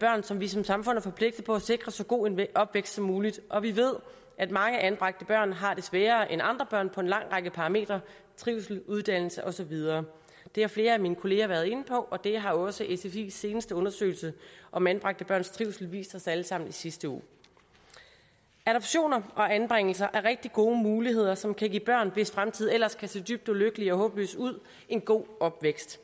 børn som vi som samfund er forpligtet på at sikre så god en opvækst som muligt og vi ved at mange anbragte børn har det sværere end andre børn på en lang række parametre trivsel uddannelse og så videre det har flere af mine kolleger været inde på og det har også sfis seneste undersøgelse om anbragte børns trivsel vist os alle sammen i sidste uge adoptioner og anbringelser er rigtig gode muligheder som kan give børn hvis fremtid ellers kan se dybt ulykkelig og håbløs ud en god opvækst